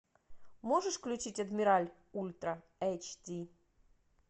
можешь включить адмиралъ ультра эйч ди